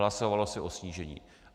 Hlasovalo se o snížení.